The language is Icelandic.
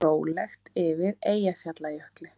Rólegt yfir Eyjafjallajökli